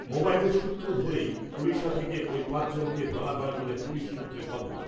মোবাইলের সূত্র ধরেই ওড়িশা থেকে ঐ পাঁচজনকে ধরা হয় বলে পুলিশ সূত্রে খবর ।